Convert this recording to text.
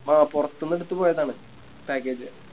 ആ പോറത്ത്ന്നെടുത്ത് പോയതാണ് Package